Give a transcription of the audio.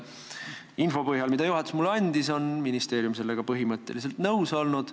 Kui otsustada info põhjal, mille juhatus mulle andis, siis on ministeerium sellega põhimõtteliselt nõus olnud.